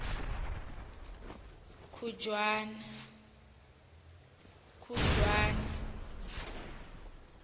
khujwana